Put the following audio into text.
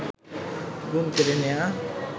ঘুম কেড়ে নেওয়া